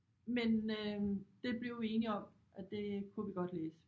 Men øh det blev vi enige om at det kunne vi godt læse